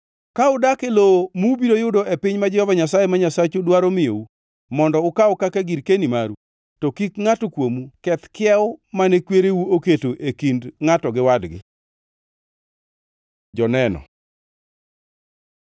Ka udak e lowo mubiro yudo e piny ma Jehova Nyasaye ma Nyasachu dwaro miyou mondo ukaw kaka girkeni maru, to kik ngʼato kuomu keth kiewo mane kwereu oketo e kind ngʼato gi wadgi. Joneno